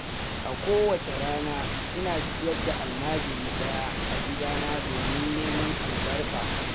A kowacce rana, ina ciyar da almajiri ɗaya a gidana domin neman albarka.